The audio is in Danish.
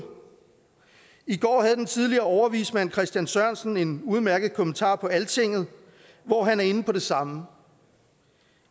i går havde den tidligere overvismand christen sørensen en udmærket kommentar på altinget hvor han er inde på det samme